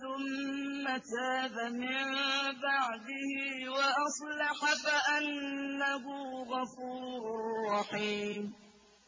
ثُمَّ تَابَ مِن بَعْدِهِ وَأَصْلَحَ فَأَنَّهُ غَفُورٌ رَّحِيمٌ